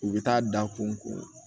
U bɛ taa da kunko